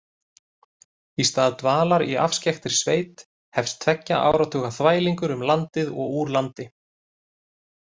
Í stað dvalar í afskekktri sveit hefst tveggja áratuga þvælingur um landið og úr landi.